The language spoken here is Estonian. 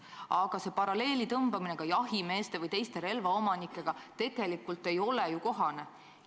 Aga paralleeli tõmbamine jahimeeste või teiste relvaomanikega tegelikult ei ole kohane.